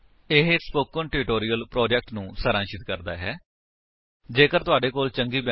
http spoken tutorial org What is a Spoken Tutorial ਇਹ spoken tutorial project ਨੂੰ ਸਾਰਾਂਸ਼ਿਤ ਕਰਦਾ ਹੈ